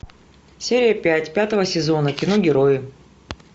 серия пять пятого сезона кино герои